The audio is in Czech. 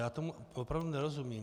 Já tomu opravdu nerozumím.